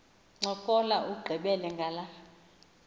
ncokola ugqibele ngala